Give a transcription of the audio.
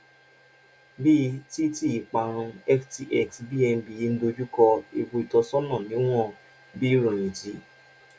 bíi ti ti ìparun ftx bnb ń dojú kọ ewu ìtọsọnà níwọn bí ìròyìn ti